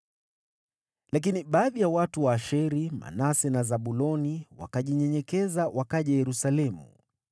Lakini, baadhi ya watu wa Asheri, Manase na Zabuloni, wakajinyenyekeza wakaja Yerusalemu.